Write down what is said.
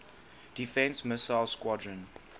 defense missile squadron